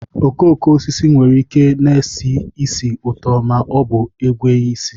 Okooko osisi nwere ike na-esi ísì ụtọ ma ọ bụ enweghị isi